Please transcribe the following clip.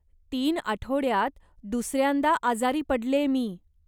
तीन आठवड्यात दुसऱ्यांदा आजारी पडलेय मी.